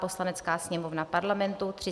Poslanecká sněmovna Parlamentu